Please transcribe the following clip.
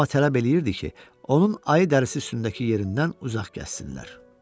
Amma tələb eləyirdi ki, onun ayı dərisi üstündəki yerindən uzaq gəzsinlər.